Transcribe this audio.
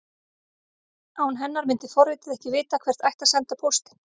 Án hennar myndi forritið ekki vita hvert ætti að senda póstinn.